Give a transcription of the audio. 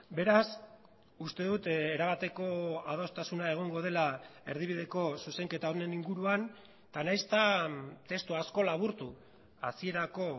beraz uste dut erabateko adostasuna egongo dela erdibideko zuzenketa honen inguruan eta nahiz eta testu asko laburtu hasierako